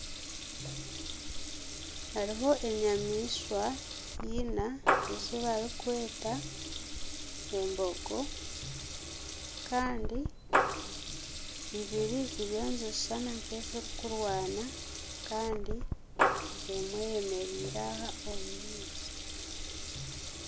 Hariho enyamaishwa ina ezi barikweta embogo kandi ibiri ziriyo nibishushana nka ezirikurwana kandi emwe eyemereire aha omu maizi.